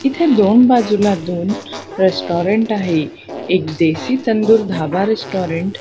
इथं दोन बाजूला दोन रेस्टॉरंट आहे एक देशी तंदूर धाबा रेस्टॉरंट --